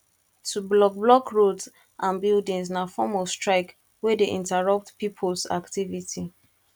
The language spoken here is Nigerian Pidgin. to block block roads ande buildings na form of strike wey de interupt pipos activities